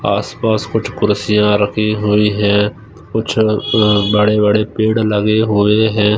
आसपास कुछ कुर्सियां रखी हुई है। कुछ बड़े-बड़े पेड़ लगे हुए हैं।